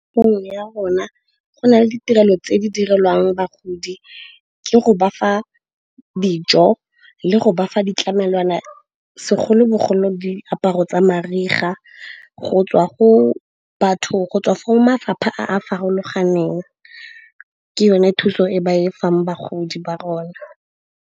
ya rona go na le ditirelo tse di direlwang bagodi, ke go bafa dijo le go bafa ditlamelwana segolobogolo diaparo tsa mariga go tswa go mafapha a a farologaneng. Ke yone thuso e ba e fang bagodi ba rona.